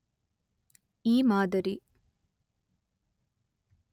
ಈ ಮಾದರಿ